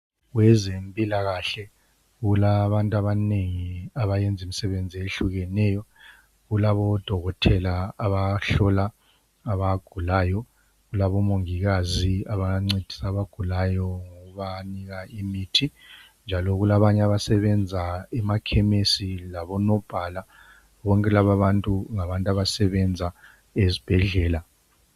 Kwezempilakahle kulabantu abanengi abayenzimisebenzi eyehlukeneyo. Kulabodokotela abahlola abagulayo, kulabomangikazi abancedisa abagulayo ngokubanika imithi njalo kulabanye abasebenza emakhemisi labo nobhala. Bonke labantu ngabantu abasebenza esibhedlela.